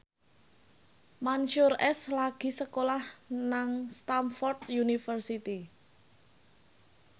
Mansyur S lagi sekolah nang Stamford University